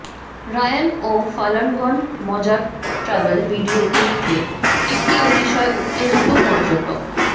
Ryan ও ফালানগন মজার ট্র্যাভেল ভিডিওগুলিতে একটি অতিশয় উত্তেজিত পর্যটক